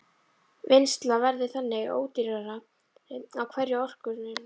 Vinnsla verður þannig ódýrari á hverja orkueiningu.